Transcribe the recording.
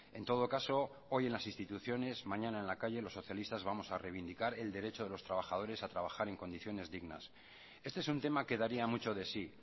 en todo caso hoy en las instituciones mañana en la calle los socialistas vamos a reivindicar el derecho a los trabajadores a trabajar en condiciones dignas este es un tema que daría mucho de sí